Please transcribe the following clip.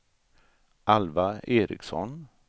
Alva Eriksson